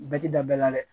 Bɛɛ ti da bɛɛ la dɛ